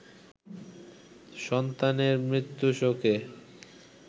সন্তানের মৃত্যু শোকে